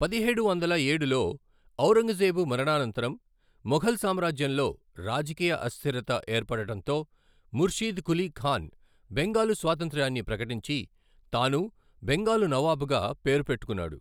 పదిహేడు వందల ఏడులో ఔరంగజేబు మరణాంతరం మొఘల్ సామ్రాజ్యంలో రాజకీయ అస్థిరత ఏర్పడటంతో, ముర్షీద్ కులీ ఖాన్ బెంగాలు స్వాతంత్ర్యాన్ని ప్రకటించి, తాను బెంగాలు నవాబుగా పేరు పెట్టుకున్నాడు.